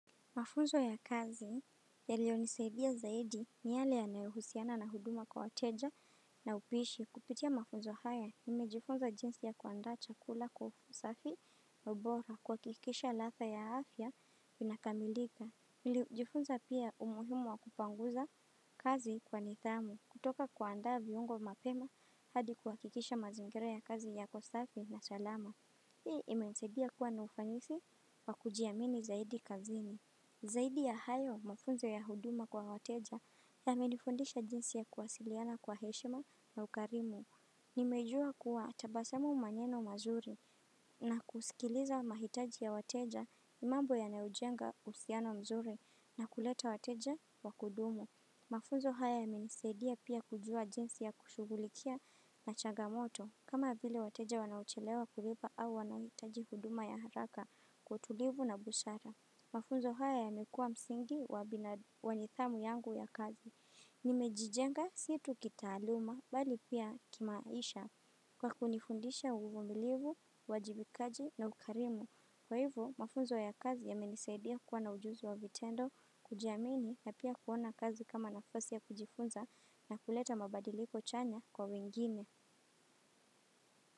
Mafunzo ya kazi yailiyo nisaidia zaidi ni yale yanayouhusiana na huduma kwa wateja na upishi kupitia mafunzo haya. Nimejifunza jinsi ya kuandaa chakula kwa usafi na ubora kuhakikisha ladha ya afya inakamilika. Nilijifunza pia umuhimu wa kupanguza kazi kwa nidhamu kutoka kuandaa viungo mapema hadi kuhakikisha mazingira ya kazi yako safi na salama. Hii imenisaidia kuwa na ufanisi wa kujiamini zaidi kazini. Zaidi ya hayo mafunzo ya huduma kwa wateja yamenifundisha jinsi ya kuwasiliana kwa heshima na ukarimu. Nimejuwa kuwa tabasamu maneno mazuri na kusikiliza mahitaji ya wateja ni mambo yanayojenga uhusiano mzuri na kuleta wateja wa kudumu. Mafunzo haya yamenisaidia pia kujuwa jinsi ya kushughulikia na changamoto kama vile wateja wanaochelewa kulipa au wanahitaji huduma ya haraka kwa utulivu na busara. Mafunzo haya yamekuwa msingi wa nidhamu yangu ya kazi. Nimejijenga si tu kitaaluma bali pia kimaisha kwa kunifundisha uvumilivu, uwajibikaji na ukarimu. Kwa hivyo, mafunzo ya kazi yamenisaidia kuwa na ujuzi wa vitendo, kujiamini na pia kuona kazi kama nafasi ya kujifunza na kuleta mabadiliko chanya kwa wengine.